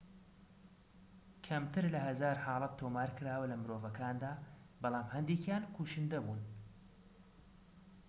کەمتر لە هەزار حاڵەت تۆمارکراوە لەمرۆڤەکاندا بەڵام هەندێكیان کوشندە بوون